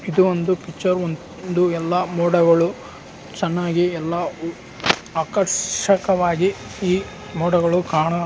ಎದು ಒಂದು ಇದು ಎಲ್ಲ ಮೋಡಗಳು ಚೆನ್ನಾಗಿ ಎಲ್ಲ ಆಕರ್ಷಕವಾಗಿ ಮೋಡಗಳು ಕಾಣು--